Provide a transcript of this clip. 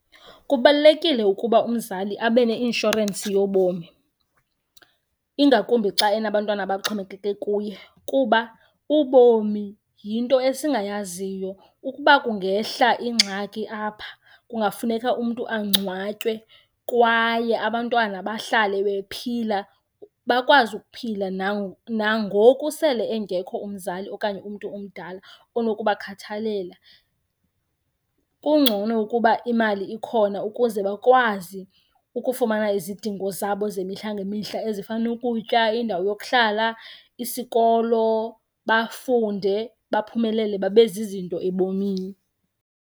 Kubalulekile ukuba umzali abe neinshorensi yobomi, ingakumbi xa enabantwana abaxhomekeke kuye kuba ubomi yinto esingayaziyo. Ukuba kungehla ingxaki apha kungafuneka umntu angcwatywe kwaye abantwana bahlale bephila bakwazi ukuphila nangoku sele engekho umzali okanye umntu omdala onokubakhathalela. Kungcono ukuba imali ikhona ukuze bakwazi ukufumana izidingo zabo zemihla ngemihla ezifana nokutya, indawo yokuhlala, isikolo, bafunde, baphumelele babe zizinto ebomini.